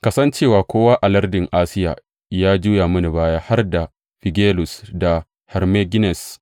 Ka san cewa kowa a lardin Asiya ya juya mini baya, har da Figelus da Hermogenes.